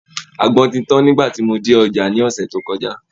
Àgbọn ti tan nigba tí mo dé ọjà ní ọ̀sẹ̀ tó kọjá